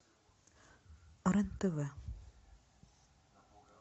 рен тв